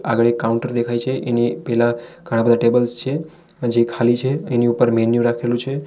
આગળ એક કાઉન્ટર દેખાય છે એની પેલા ઘણા બધા ટેબલ્સ છે હજી ખાલી છે એની ઉપર મેન્યુ રાખેલું છે.